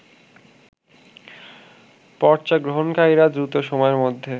পর্চা গ্রহণকারীরা দ্রুত সময়ের মধ্যে